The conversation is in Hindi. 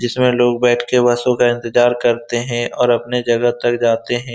जिसमें लोग बैठ के बसों का इंतज़ार करते हैं और अपने जगह तक जाते है।